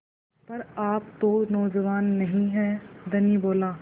पर आप तो नौजवान नहीं हैं धनी बोला